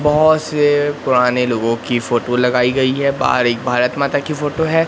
बहोत से पुराने लोगों की फोटो लगाई गई है बाहर एक भारत माता की फोटो है।